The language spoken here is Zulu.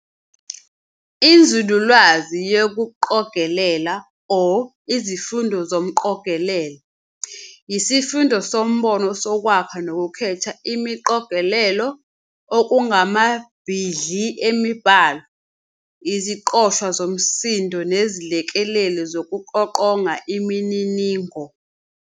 Inzululwazi yokuqogelela, or izifundo zomqogelelo, yisifundo sombono sokwakha nokukhetha imiqogelelo, okungamabhidli emibhalo, iziqoshwa zomsindo nezilekeleli zokuqoqonga imininingo.